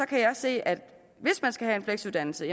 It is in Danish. kan jeg se at hvis man skal have en fleksuddannelse